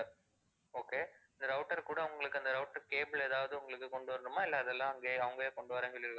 okay இந்த router கூட உங்களுக்கு அந்த router cable ஏதாவது உங்களுக்கு கொண்டு வரணுமா, இல்ல அதெல்லாம் அங்கே அவுங்களே கொண்டு வர்றேன்னு சொல்லிருக்காங்களா?